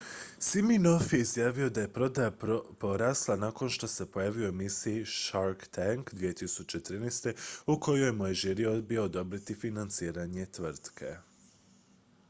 siminoff je izjavio da je prodaja porasla nakon što se pojavio u emisiji shark tank 2013 u kojoj mu je žiri odbio odobriti financiranje tvrtke